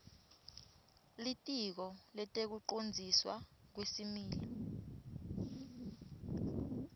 litiko letekucondziswa kwesimilo